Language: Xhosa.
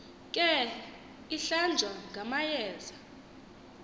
ke ihlanjwa ngamayeza